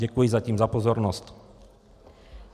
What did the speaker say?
Děkuji zatím za pozornost.